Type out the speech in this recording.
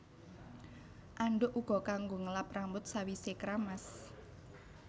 Andhuk uga kanggo ngelap rambut sawisé kramas